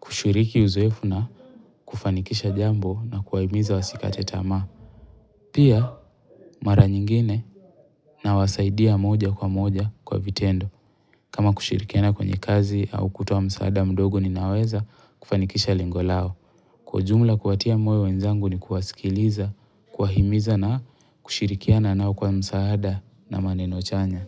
kushiriki uzoeefu na kufanikisha jambo na kuwahimiza wasikate tamaa Pia mara nyingine nawasaidia moja kwa moja kwa vitendo. Kama kushirikiana kwenye kazi au kutoa msaada mdogo ninaweza kufanikisha lengo lao. Kwa ujumla kuwatia moyo wenzangu ni kuwasikiliza, kuwahimiza na kushirikiana nao kwa msaada na maneno chanya.